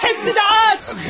Hamısı da aç!